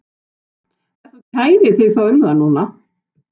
Ef þú kærir þig þá um það núna.